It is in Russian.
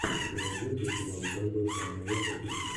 у тебя найдется сериал у каждого своя война пятый сезон